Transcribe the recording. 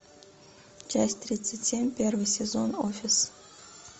часть тридцать семь первый сезон офис